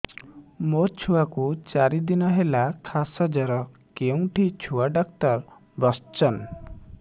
ମୋ ଛୁଆ କୁ ଚାରି ଦିନ ହେଲା ଖାସ ଜର କେଉଁଠି ଛୁଆ ଡାକ୍ତର ଵସ୍ଛନ୍